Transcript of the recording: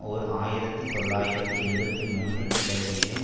ஓர் ஆயிரத்தி தொள்ளாயிரத்து எழுபத்தி ஒன்று கிளர்ச்சியையும்